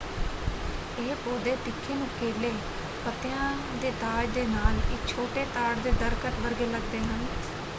ਇਹ ਪੌਦੇ ਤਿੱਖੇ ਨੁਕੀਲੇ ਪੱਤਿਆਂ ਦੇ ਤਾਜ ਦੇ ਨਾਲ ਇੱਕ ਛੋਟੇ ਤਾੜ ਦੇ ਦਰੱਖਤ ਵਰਗੇ ਲੱਗਦੇ ਹਨ।